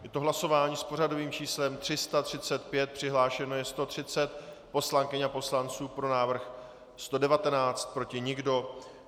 Je to hlasování s pořadovým číslem 335, přihlášeno je 130 poslankyň a poslanců, pro návrh 119, proti nikdo.